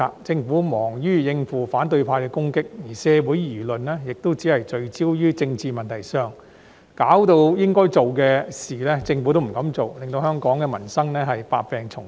政府忙於應付反對派的攻擊，而社會輿論亦聚焦於政治問題上，以致應該做的事，政府都不敢做，令香港民生百病叢生。